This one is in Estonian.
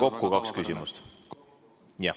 Kokku on kaks küsimust.